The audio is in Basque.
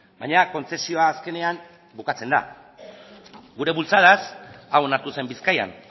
baina kontzesioa azkenean bukatzen da gure bultzadaz hau onartu zen bizkaian